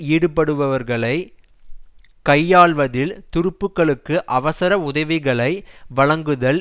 ஈடுபடுபவர்களை கையாள்வதில் துருப்புக்களுக்கு அவசர உதவிகளை வழங்குதல்